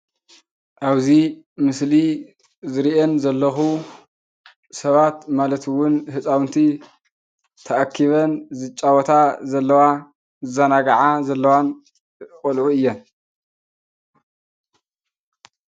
ኣብዚ ምስሊ ዝሪአን ዘለኹ ሰባት ማለት እውን ህፃውንቲ ተኣኪበን ዝፃወታ ዘለዋ ዝዘናግዓ ዘለዋን ቆልዑ እየን፡፡